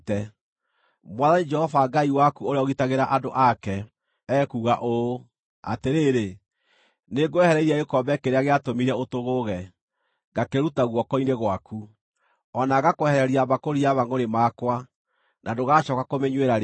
Mwathani Jehova Ngai waku ũrĩa ũgitagĩra andũ ake, ekuuga ũũ: “Atĩrĩrĩ, nĩngwehereirie gĩkombe kĩrĩa gĩatũmire ũtũgũge, ngakĩruta guoko-inĩ gwaku; o na ngakwehereria mbakũri ya mangʼũrĩ makwa, na ndũgacooka kũmĩnyuĩra rĩngĩ.